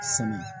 Samiya